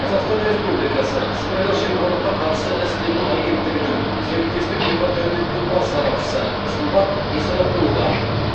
қазақстан республикасы сыбайлас жемқорлыққа қарсы іс қимыл агенттігінің серіктестік департаментінің бас сарапшысы сымбат исрапулова